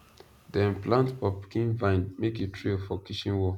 dem plant pumpkin vine make e trail for kitchen wall